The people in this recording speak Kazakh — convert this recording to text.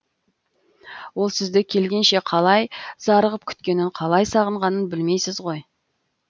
ол сізді келгенше қалай зарығып күткенін қалай сағынғанын білмейсіз ғой